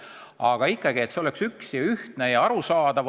On vaja, et see lahendus oleks üks ja ühtne ja arusaadav.